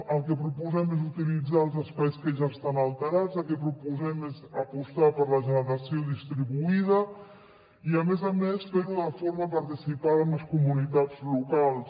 el que proposem és utilitzar els espais que ja estan alterats el que proposem és apostar per la generació distribuïda i a més a més fer ho de forma participada amb les comunitats locals